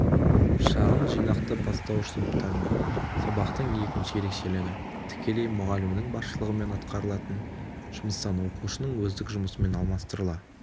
шағын жинақты бастауыш сыныптардың сабақтың екінші ерекшелігі-тікелей мұғалімнің басшылығымен атқарылатын жұмыстан оқушының өздік жұмысымен алмастырыла